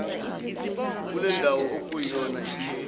kulendawo okuyona lkheli